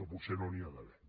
que potser no n’hi ha d’haver